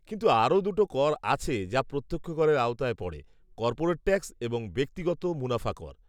কিন্তু আরও দুটো কর আছে যা প্রত্যক্ষ করের আওতায় পড়ে; কর্পোরেট ট্যাক্স এবং ব্যক্তিগত মুনাফা কর।